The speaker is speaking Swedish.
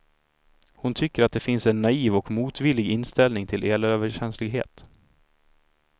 Hon tycker att det finns en naiv och motvillig inställning till elöverkänslighet.